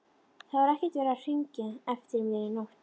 Það var ekkert verið að hringja eftir mér í nótt.